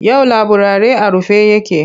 Yau laburare a rufe yake.